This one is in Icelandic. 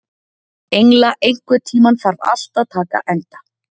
Engla, einhvern tímann þarf allt að taka enda.